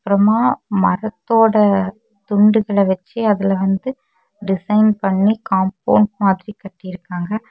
அப்றமா மரத்தோட துண்டுகள வச்சி அதுல வந்து டிசைன் பண்ணி காம்பவுணட் மாதிரி கட்டிருக்காங்க.